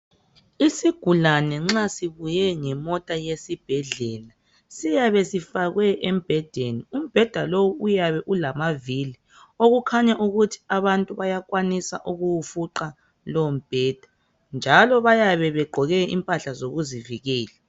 isisgulane nxa sibuye ngemota yesibhebhedlela siyabe sifakwe embhedeni umbheda lo uyabe elamavili okukhanya ukuthi abantu bayakwanisa ukuwufuqa lowomubheda njalo bayabe begqoke impahla zokuzivikela